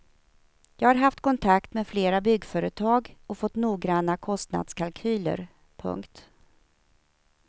Jag har haft kontakt med flera byggföretag och fått noggranna kostnadskalkyler. punkt